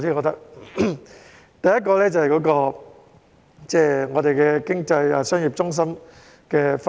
第一，這涉及香港經濟商業中心的分布。